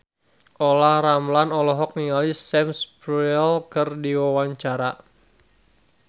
Olla Ramlan olohok ningali Sam Spruell keur diwawancara